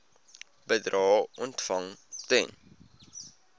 bedrae ontvang ten